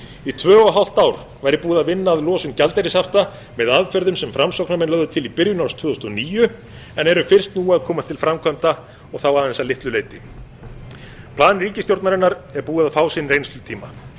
í tvö og hálft ár væri búið að vinna að losun gjaldeyrishafta með aðferðum sem framsóknarmenn lögðu til í byrjun árs tvö þúsund og níu en eru fyrst nú að komast til framkvæmda og þá aðeins að litlu leyti plan ríkisstjórnarinnar er búið að fá sinn reynslutíma